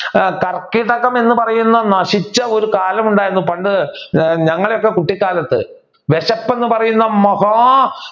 കർക്കിടകം എന്നു പറയുന്ന നശിച്ച ഒരു കാലം ഉണ്ടായിരുന്നു പണ്ട് ഞങ്ങളുടെ ഒക്കെ കുട്ടികാലത്ത് വിശപ്പ് എന്ന് പറയുന്ന മഹാ